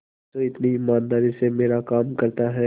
जो इतनी ईमानदारी से मेरा काम करता है